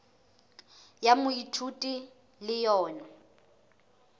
ya moithuti e le yona